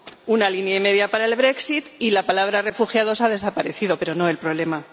Una línea y media para el y la palabra refugiados ha desaparecido, pero no el problema.